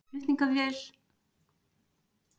Flutningaflugvél fórst í Alaska